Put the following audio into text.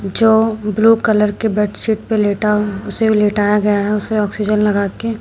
जो blue colour के bed sheet पे लेटा उसे लेटाया गया है उसे ऑक्सीजन लगा के।